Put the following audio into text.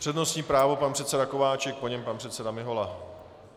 Přednostní právo pan předseda Kováčik, po něm pan předseda Mihola.